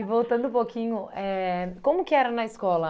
E voltando um pouquinho, como que era na escola?